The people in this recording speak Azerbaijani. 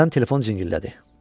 Birdən telefon cingillədi.